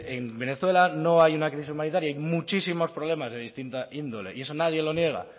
en venezuela no hay una crisis humanitaria hay muchísimos problemas de distinta índole y eso nadie lo niega